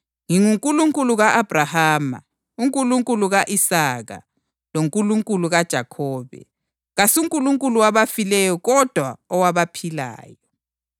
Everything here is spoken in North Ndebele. ‘NginguNkulunkulu ka-Abhrahama, uNkulunkulu ka-Isaka loNkulunkulu kaJakhobe’ + 22.32 U-Eksodasi 3.6 ? KasuNkulunkulu wabafileyo kodwa owabaphilayo.”